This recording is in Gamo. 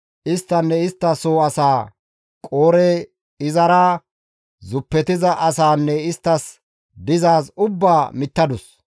isttanne istta soo asaa, Qoore, izara zuppetiza asaanne isttas dizaaz ubbaa mittadus.